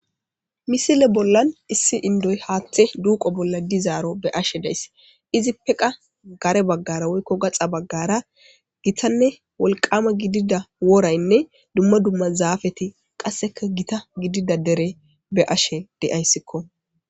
Misile bollan issi inidoyi hathe duqo bolla dizaro be7ashe da7ayis izipe qa karebagara woyko gaxabagara gittane woliqama gidida worayinee duma duma zapeti qasika gitta gidida derey be7ashe da7ayisko